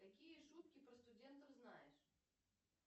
какие шутки про студентов знаешь